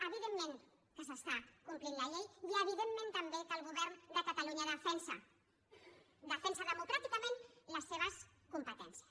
evidentment que s’està complint la llei i evidentment també que el govern de catalunya defensa democràticament les seves competències